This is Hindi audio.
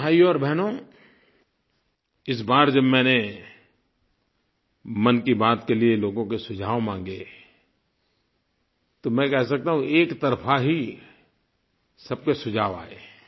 प्यारे भाइयो और बहनों इस बार जब मैंने मन की बात के लिये लोगों के सुझाव मांगे तो मैं कह सकता हूँ कि एकतरफ़ा ही सबके सुझाव आए